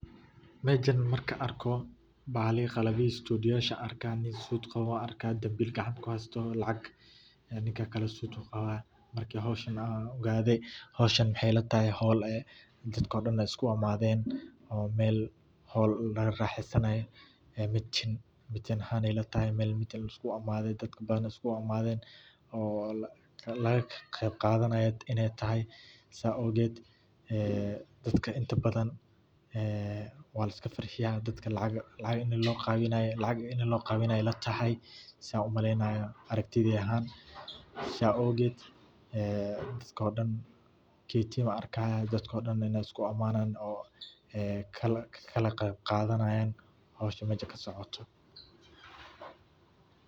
Mejan markan arko, balihi, qalabyahii studioyasha ayan arka, nin suut qabo an arka dambil gacanta kuhaysto oo lacag, ninka kale suut uu qaba, markan howshan ogaade, howshan maxay ila tahay howl ay dadko dhan ay isku amadeen oo Mel howl laga raaxesanayo ee meeting, meeting ahan ay ila tahay Mel meeting lisku imaade ee dadka badan iskugu imaaden oo laga qeb qadanayo inay tahay saa ogeed ee dadka inta badan waa liska farxiya ,dadka lacag ay loo qeybinaya ila tahay sa umaleynayo aragtidey ahan, saa awged dadka dhan ketiya wan arkaya dadka dhan in ay isku aamadan oo ee kala qeb qadanayan howshan meja kasocoto